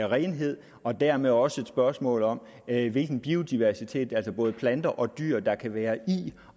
renhed og dermed også et spørgsmål om hvilken biodiversitet altså både planter og dyr der kan være i